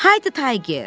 Haydı Tayger!